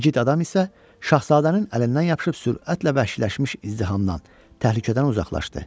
İgid adam isə şahzadənin əlindən yapışıb sürətlə vəhşiləşmiş izdihamdan təhlükədən uzaqlaşdı.